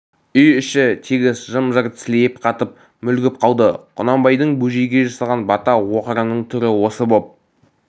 үй іші тегіс жым-жырт сілейіп қатып мүлгіп қалды құнанбайдың бөжейге жасаған бата оқырының түрі осы боп